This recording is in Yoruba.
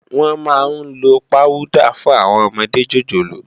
Wòn má n ló páwùdá fún áwòn òmòdé jójólóò